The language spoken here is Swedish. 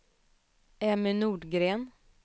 Emmy Nordgren